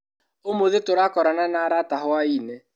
ũmũthĩ tũrakorana na arata hwainĩ.